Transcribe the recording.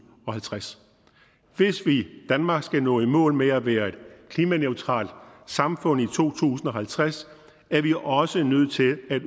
og halvtreds hvis danmark skal nå i mål med at være et klimaneutralt samfund i to tusind og halvtreds er vi også nødt til at